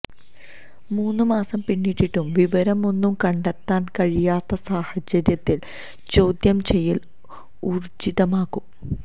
മൂന്ന് മാസം പിന്നിട്ടിട്ടും വിവരമൊന്നും കണ്ടെത്താന് കഴിയാത്ത സാഹചര്യത്തില് ചോദ്യം ചെയ്യല് ഊര്ജ്ജിതമാക്കും